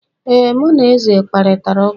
ee, mụ na eze kparịtara ụka